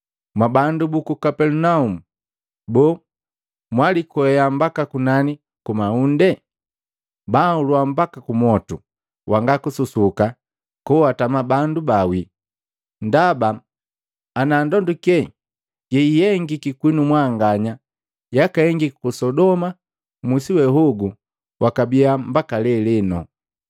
Mwabandu buku Kapelinaumu! Boo, mwalikwea mbaka kunani kumaunde? Banhulua mbaka kumwotu wanga kususuka koatama bandu baawii! Ndaba, ana ndonduke yeihengiki kwinu mwanganya yakahengika ku Sodoma, musi wehogu wakabiya mbaka leleno.